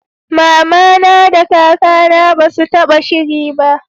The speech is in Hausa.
mamana da kaka na basu taba shiri ba